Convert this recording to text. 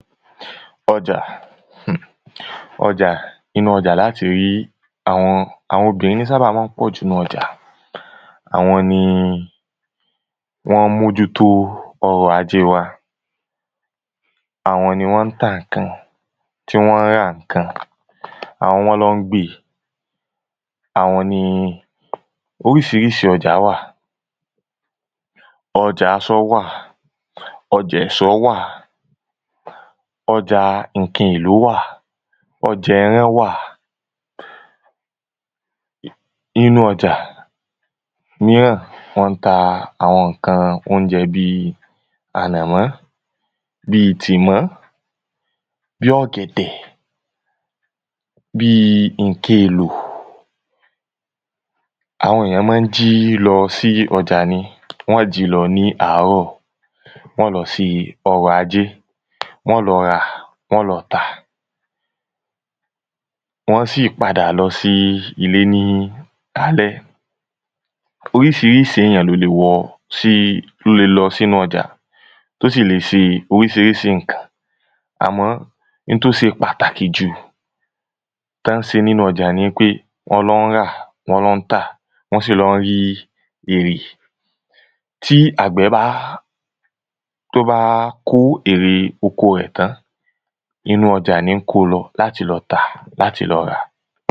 um ọjà, um ọjà inú ọjà la á ti rí, àwọn àwọn obìnrin ní sábà máa ń pọ̀jù nínu ọjà àwọn ni wọ́n ń mójú tó ọrọ̀ ajé wa àwọn ni wọ́n ń ta ǹǹkan, tí wọ́n ń ra ǹǹkan, àwọn nọ́n lọ ń gbé e, àwọn ni oríṣiríṣi ọjà wà, ọjà asọ wà, ọjà ẹ̀sọ́ wà ojà ǹkan èlò wà, ọjà ẹran wà nínu ọjà míràn wọ́n ń ta àwọn ǹkan óúnjẹ bíi ànàmọ́, bíi tìmọ́, bíi ọ̀gẹ̀dẹ̀, bíi ǹkan èlò àwọn èyàn máa ń jí lọ sí ọjà ni, wọ́n o jí lọ ní ààrọ̀, wọn ó lọ ṣe ọrọ̀ ajé, wọn ó lọ rà wọn ó lọ tà wọn á sì padà lọ sí ilé ní alẹ́ oríṣiríṣi èyàn ló le wọ sí ló le lọ sí inú ọjà tó sì lè ṣe oríṣiríṣi ǹkan àmọ́ in tó ṣe pàtàkì jù tọ́n ń ṣe nínú ọjà ni í pé wọ́n lọ ń rà, wọ́n lọ ń tà, wọn sì lọ ń rí èrè tí àgbẹ̀ bá tó bá kó èrè oko rẹ̀ tán inú ọjà ní í kó o lọ láti lọ tà, láti lọ rà